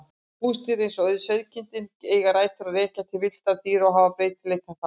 Húsdýr eins og sauðkindin eiga rætur að rekja til villtra dýra og hafa breytileikann þaðan.